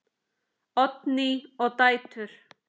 Oddný og dætur.